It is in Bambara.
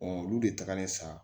olu de tagalen sa